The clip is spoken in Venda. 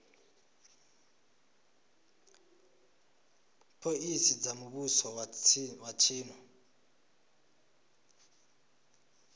phoḽisi dza muvhuso wa tshino